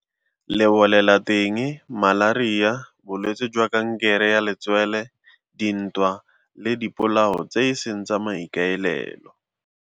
Lebolelateng, malaria, bolwetse jwa kankere ya letswele, dintwa le dipolao tse e seng tsa maikaelelo.